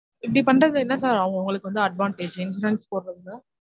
இப்டி பண்றது என்ன sir அவங்க அவங்களுக்கு வந்து advantage insurance போட்றதுல